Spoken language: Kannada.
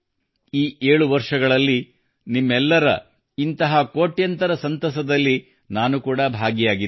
ಈ 7 ವರ್ಷಗಳಲ್ಲಿ ನಿಮ್ಮೆಲ್ಲರ ಇಂತಹ ಕೋಟ್ಯಂತರ ಸಂತಸದಲ್ಲಿ ನಾನು ಕೂಡಾ ಭಾಗಿಯಾಗಿದ್ದೇನೆ